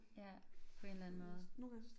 Ja på en eller anden måde